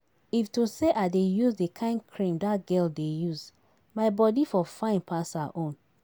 If to say I dey use the kyn cream dat girl dey use, my body for fine pass her own